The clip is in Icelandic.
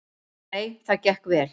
Nei, það gekk vel.